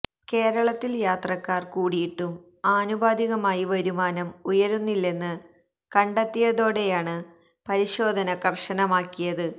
കേരളത്തില് യാത്രക്കാര് കൂടിയിട്ടും ആനുപാതികമായി വരുമാനം ഉയരുന്നില്ലെന്ന് കണ്ടെത്തിയതോടെയാണ് പരിശോധന കര്ശനമാക്കിയത്